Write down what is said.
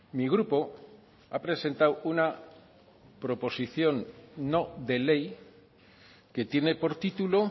mi grupo ha presentado una proposición no de ley que tiene por título